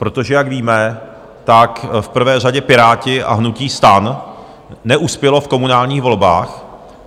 Protože jak víme, tak v prvé řadě Piráti a hnutí STAN neuspělo v komunálních volbách.